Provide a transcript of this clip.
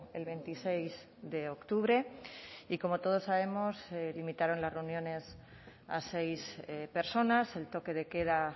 el veintiséis de octubre y como todos sabemos limitaron las reuniones a seis personas el toque de queda